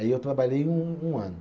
Aí eu trabalhei um um ano.